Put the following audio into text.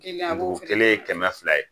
Dugun kelen ye kɛmɛ fila ye.